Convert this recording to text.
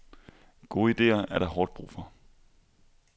Gode ideer er der hårdt brug for.